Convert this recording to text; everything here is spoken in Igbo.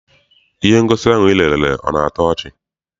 Ihe ngosi ahụ I lerere ọ na-atọ ọchị?